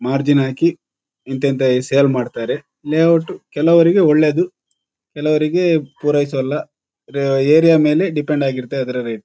Margin ಹಾಕಿ ಇನ್ ಇಂಥ ಸೆಲ್ ಮಾಡ್ತಾರೆ. ಲೇಯೌಟ್ ಕೆಲವರಿಗೆ ಒಳ್ಳೆದ್ದು ಕೆಲವರಿಗೆ ಪುರಾಹಿಸೋಲ್ಲ. ರ ಏರಿಯಾ ಮೇಲೆ ಡಿಪೆಂಡ್ ಆಗಿರುತ್ತೆ ಅದರ ರೇಟ್ .